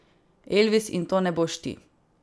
Elvis, in to ne boš ti.